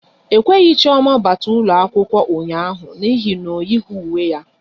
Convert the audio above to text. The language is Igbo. E kweghị Chioma bata ụlọ akwụkwọ ụnyaahụ n'ihi na o yighi uwe ya